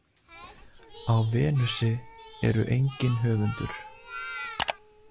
Á Venusi eru engin höfundur.